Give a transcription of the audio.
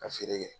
Ka feere kɛ